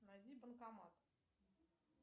найди банкомат